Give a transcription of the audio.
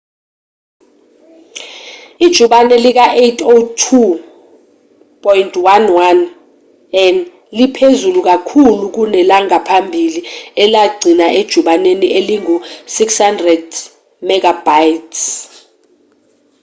ijubane lika-802.11n liphezulu kakhulu kunelangaphambili elaligcina ejubaneni elingu-600mbit/s